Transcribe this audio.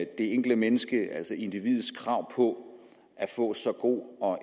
det enkelte menneskes altså individets krav på at få så god og